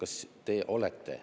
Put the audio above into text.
Aitäh!